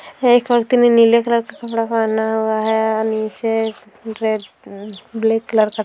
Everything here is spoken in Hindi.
एक आदमी ने नीले कलर का कपड़ा पहना हुआ है अ निचे रेड ब्लैक कलर का --